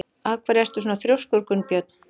Af hverju ertu svona þrjóskur, Gunnbjörg?